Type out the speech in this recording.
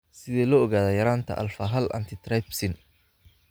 Sidee loo ogaadaa yaraanta alfa hal antitrypsin?